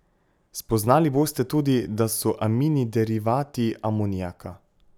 Spoznali boste tudi, da so amini derivati amonijaka.